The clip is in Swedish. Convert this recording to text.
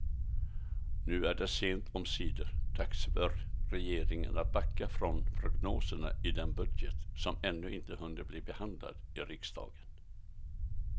Nu är det sent omsider dags för regeringen att backa från prognoserna i den budget som ännu inte hunnit bli behandlad i riksdagen.